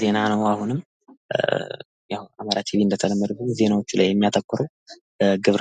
ዜና የመረጃ ነፃነትን የሚያረጋግጥና ዜጎች በመንግስታቸውና በዙሪያቸው ባሉ ጉዳዮች ላይ በቂ ግንዛቤ እንዲኖራቸው